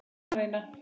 Ég er enn að reyna.